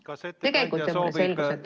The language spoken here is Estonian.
Kas ettekandja soovib lisaaega?